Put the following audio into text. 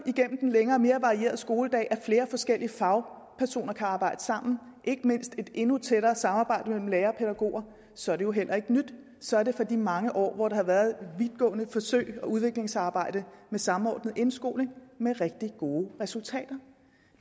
gennem den længere mere varierede skoledag styrker at flere forskellige fagpersoner kan arbejde sammen ikke mindst et endnu tættere samarbejde mellem lærere og pædagoger så er det jo heller ikke nyt så er det for de mange år hvor der har været vidtgående forsøg og udviklingsarbejde med samordnet indskoling med rigtig gode resultater